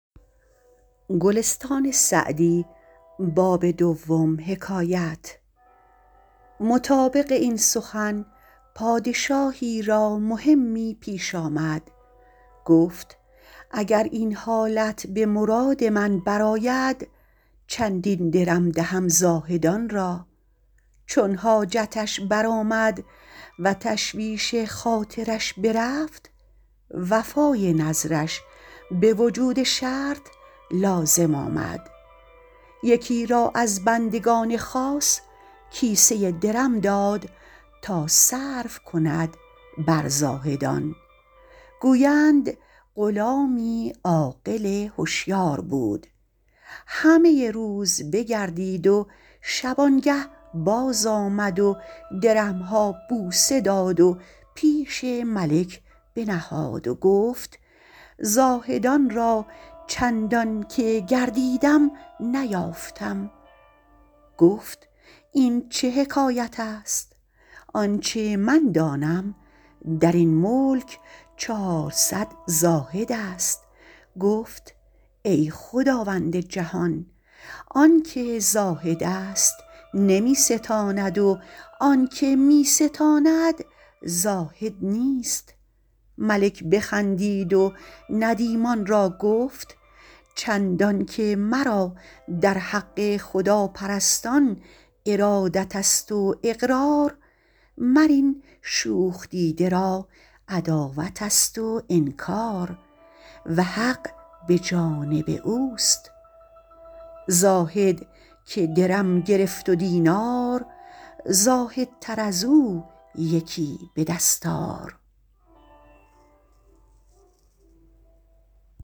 مطابق این سخن پادشاهی را مهمی پیش آمد گفت اگر این حالت به مراد من بر آید چندین درم دهم زاهدان را چون حاجتش برآمد و تشویش خاطرش برفت وفای نذرش به وجود شرط لازم آمد یکی را از بندگان خاص کیسه ای درم داد تا صرف کند بر زاهدان گویند غلامی عاقل هشیار بود همه روز بگردید و شبانگه باز آمد و درم ها بوسه داد و پیش ملک بنهاد و گفت زاهدان را چندان که گردیدم نیافتم گفت این چه حکایت است آنچه من دانم در این ملک چهارصد زاهد است گفت ای خداوند جهان آن که زاهد است نمی ستاند و آن که می ستاند زاهد نیست ملک بخندید و ندیمان را گفت چندان که مرا در حق خداپرستان ارادت است و اقرار مر این شوخ دیده را عداوت است و انکار و حق به جانب اوست زاهد که درم گرفت و دینار زاهدتر از او یکی به دست آر